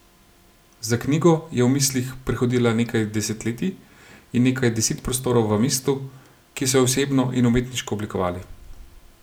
Za knjigo je v mislih prehodila nekaj desetletij in nekaj deset prostorov v mestu, ki so jo osebno in umetniško oblikovali.